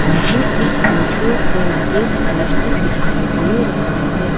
मुझे इस फोटो पर एक पोस्टर दिखाई दे रहा है।